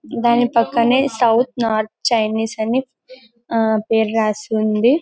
దాని పక్కన south north Chinese అని ఆ పేరు రాసి ఉంది --